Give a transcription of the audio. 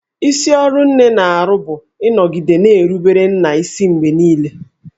Isi ọrụ nne na-arụ bụ ịnọgide na-erubere nna isi mgbe niile